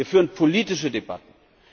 Wir führen politische Debatten.